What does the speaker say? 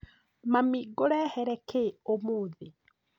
Mami ngurehere kĩ ũmũthĩ?